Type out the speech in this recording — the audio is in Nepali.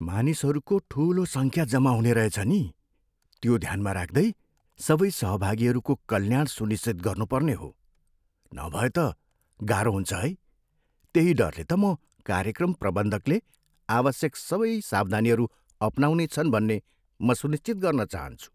मानिसहरूको ठुलो सङ्ख्या जमा हुने रहेछ नि। त्यो ध्यानमा राख्दै, सबै सहभागीहरूको कल्याण सुनिश्चित गर्नुपर्ने हो। नभए त गाह्रो हुन्छ है। त्यही डरले त म कार्यक्रम प्रबन्धकले आवश्यक सबै सावधानीहरू अपनाउनेछन् भन्ने म सुनिश्चित गर्न चाहन्छु।